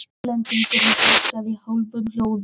Hollendingurinn heilsaði í hálfum hljóðum og hvimaði augum.